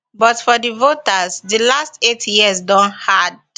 but for di voters di last eight years don hard